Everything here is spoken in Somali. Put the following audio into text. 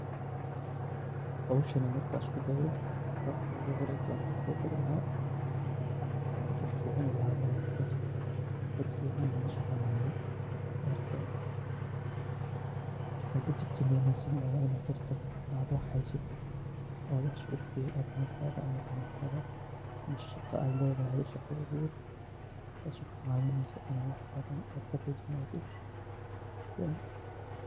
Hooshan marki isku daaoh Qabka Qoofka u bari lahaya marku Qoofka cuunoh, fican masoconayo marka budget sameeyneysoh waxhaysatid meel AA shaqa AA leedahay oo wax bathan kafairheystah.